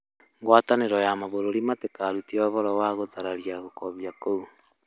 ngwatanĩro ya mabũrũri matĩkarute ũhoro wa guthararĩa gũkobĩa kũu